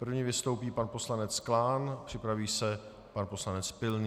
První vystoupí pan poslanec Klán, připraví se pan poslanec Pilný.